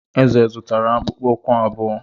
Eze zụtara akpụkpọ ụkwụ abụọ.